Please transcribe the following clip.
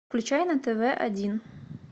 включай на тв один